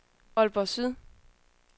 Aalborg Søndre